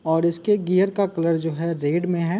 और इसके गियर का कलर जो है रेड में है।